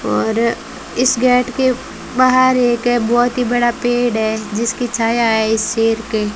और इस गेट के बाहर एक है बहोत ही बड़ा पेड़ है जिसकी छाया है इस शेर के --